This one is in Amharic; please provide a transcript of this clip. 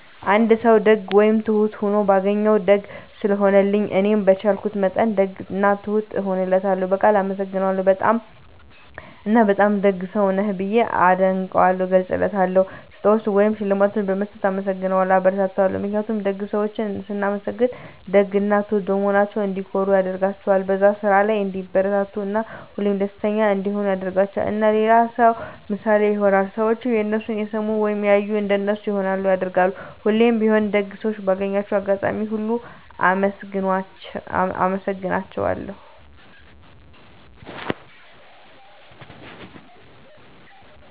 አንድ ሰዉ ደግ ወይም ትሁት ሁኖ ሳገኘዉ፤ ደግ ስለሆነልኝ እኔም በቻልኩት መጠን ደግ እና ትሁት እሆንለታለሁ፣ በቃል አመሰግነዋለሁ እና በጣም ደግ ሰዉ ነህ ብዬ አድናቆቴንም እገልፅለታለሁ። ስጦታዎችን ወይም ሽልማቶችን በመስጠት እናመሰግነዋለሁ (አበረታታዋለሁ) ። ምክንያቱም ደግ ሰዎችን ስናመሰግናቸዉ ደግ እና ትሁት በመሆናቸዉ እንዲኮሩ ያደርጋቸዋል፣ በዛ ስራ ላይ እንዲበረታቱ እና ሁሌም ደስተኛ እንዲሆኑ ያደርጋቸዋል። እና ለሌላ ሰዉ ምሳሌ ይሆናሉ። ሰዎችም የነሱን እየሰሙ ወይም እያዩ እንደነሱ ይሆናሉ (ያደርጋሉ)። እና ሁሌም ቢሆን ደግ ሰዎችን ባገኘሁት አጋጣሚ ሁሉ አመሰግናቸዋለሁ።